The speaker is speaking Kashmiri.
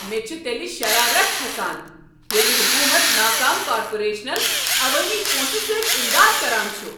مےٚ چھ تیٚلہ شرارتھ کھسان ییٚلہ حکوٗمت ناکام کارپوریشنن عوٲمی پونٛسہٕ سۭتۍ اِمداد كران چھ۔